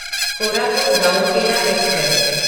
Koraput Rourkela express